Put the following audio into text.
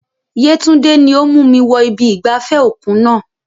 Yetunde ni ó mú mi wọ ibi ìgbafẹ́ òkun náà.